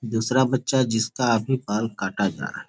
दूसरा बच्चा जिसका अभी बाल काटा जा रहा है।